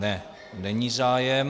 Ne, není zájem.